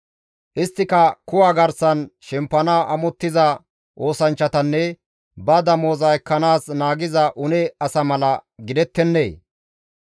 Isttika kuwa garsan shempanaas amottiza oosanchchatanne ba damoza ekkanaas naagiza une asa mala gidettennee?